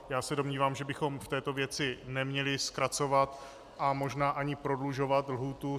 Já se domnívám, že bychom v této věci neměli zkracovat a možná ani prodlužovat lhůtu.